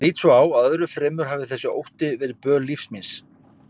Ég lít svo á að öðru fremur hafi þessi ótti verið böl lífs míns.